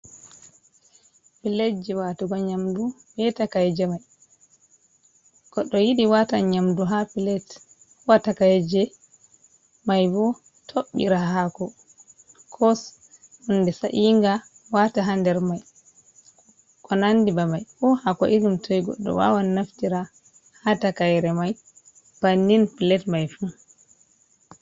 Piletje watugo nyamdu be takayeje mai, goɗɗo yiɗi watan nyamdu ha pilat ko ha takayeje mai bo toɓɓira hako kos hunde sa’inga wata ha nder mai ko nandi be mai ko hako irin toi goɗɗo wawan naftira ha takayre mai bannin pilat mai fu.